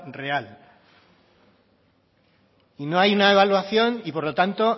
real y no hay una evaluación y por lo tanto